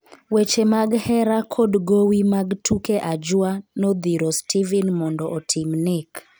weche mag hera kod gowi mag tuke ajwa nodhiro Stephen mondo otim nek